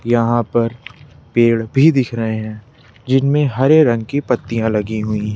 यहां पर पेड़ भी दिख रहे हैं जिनमें हरे रंग की पत्तियां लगी हुईं--